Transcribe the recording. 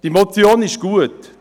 Diese Motion ist gut.